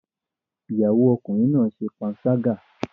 Ìyàwó Ọkùnrin náà ṣe panṣágà